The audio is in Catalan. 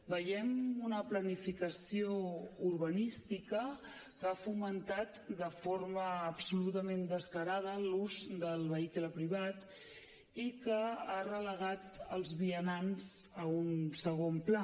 veiem una planificació urbanística que ha fomentat de forma absolutament descarada l’ús del vehicle privat i que ha relegat els vianants a un segon pla